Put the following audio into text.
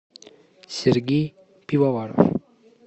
сергей пивоваров